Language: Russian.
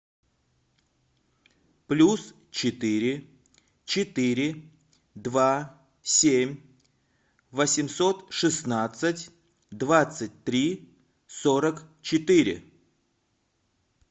плюс четыре четыре два семь восемьсот шестнадцать двадцать три сорок четыре